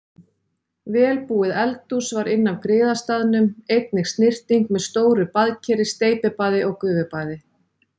Vel búið eldhús var inn af griðastaðnum, einnig snyrting með stóru baðkeri, steypibaði og gufubaði.